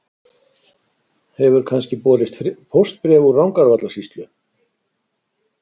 Hefur kannski borist póstbréf úr Rangárvallasýslu?